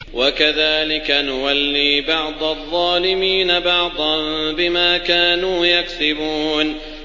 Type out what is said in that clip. وَكَذَٰلِكَ نُوَلِّي بَعْضَ الظَّالِمِينَ بَعْضًا بِمَا كَانُوا يَكْسِبُونَ